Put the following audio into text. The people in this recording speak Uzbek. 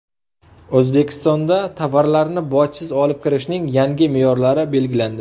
O‘zbekistonda tovarlarni bojsiz olib kirishning yangi me’yorlari belgilandi.